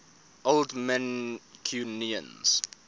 old mancunians